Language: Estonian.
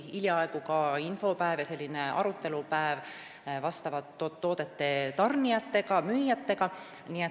Hiljaaegu oli ka infopäev, arutelupäev vastavate toodete tarnijate ja müüjatega.